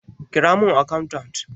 Ƙira mun akantat!